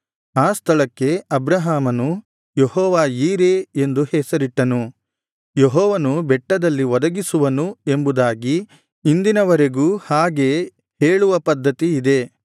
ಆ ಸ್ಥಳಕ್ಕೆ ಅಬ್ರಹಾಮನು ಯೆಹೋವ ಯೀರೆ ಎಂದು ಹೆಸರಿಟ್ಟನು ಯೆಹೋವನು ಬೆಟ್ಟದಲ್ಲಿ ಒದಗಿಸುವನು ಎಂಬುದಾಗಿ ಇಂದಿನವರೆಗೂ ಹಾಗೆ ಹೇಳುವ ಪದ್ಧತಿ ಇದೆ